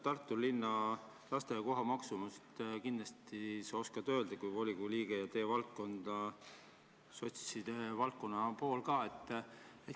Tartu linna lasteaiakoha maksumust sa kindlasti oskad kui volikogu liige öelda ja see on ju ka sotside valdkond.